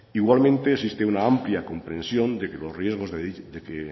igualmente existe una amplia comprensión de que los riesgos que